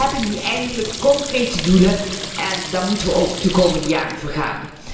We hebben nu eindelijk concrete doelen en daar moeten we de komende jaren ook voor gaan.